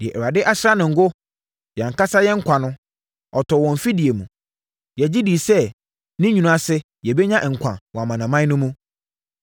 Deɛ Awurade asra no ngo, yɛn ankasa yɛn nkwa no, ɔtɔɔ wɔn mfidie mu. Yɛgye dii sɛ ne nwunu ase yɛbɛnya nkwa wɔ amanaman no mu.